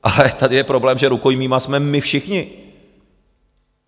Ale tady je problém, že rukojmími jsme my všichni.